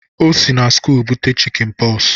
Ọ si na skụụl bute chikịn Pox.